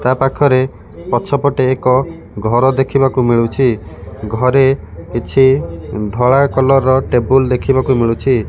ତା ପାଖରେ ପଛପଟେ ଏକ ଘର ଦେଖିବାକୁ ମିଳୁଛି ଘରେ କିଛି ଉଁ ଧଳା କଲର୍ ର ଟେବୁଲ ଦେଖିବାକୁ ମିଳୁଛି।